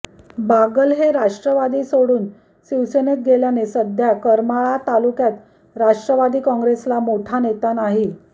बागल हे राष्ट्रवादी सोडून शिवसेनेत गेल्याने सध्या करमाळा तालुक्यात राष्ट्रवादी काँग्रेस ला मोठा नेता नाही